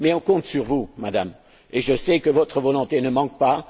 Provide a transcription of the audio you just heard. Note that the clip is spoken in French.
Mais on compte sur vous, Madame, et je sais que votre volonté ne manque pas.